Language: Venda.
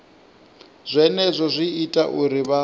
zwenezwo zwi ita uri vha